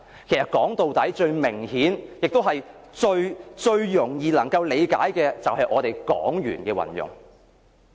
其實，說到底，最明顯亦最容易理解的是我們港元的運用。